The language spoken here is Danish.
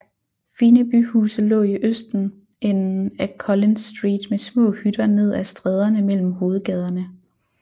Fine byhuse lå i østenden af Collins Street med små hytter ned af stræderne mellem hovedgaderne